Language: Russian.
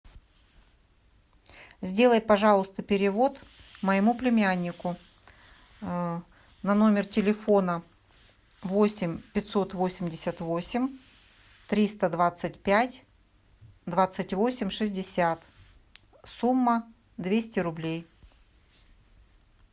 сделай пожалуйста перевод моему племяннику на номер телефона восемь пятьсот восемьдесят восемь триста двадцать пять двадцать восемь шестьдесят сумма двести рублей